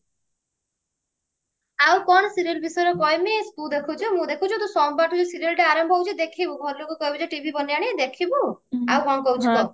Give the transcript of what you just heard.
ଆଉ କଣ serial ବିଷୟରେ କହିବି ତୁ ଦେଖୁଛୁ ମୁଁ ଦେଖୁଛୁ ସୋମବାରଠୁ ଯଉ serial ଆରମ୍ଭ ହଉଛି ଦେଖିବୁ ଘର ଲୋକଙ୍କୁ କହିବୁ ଯେ TV ବନେଇ ଆଣିବେ ଦେଖିବୁ ଆଉ କଣ କହୁଛୁ କହ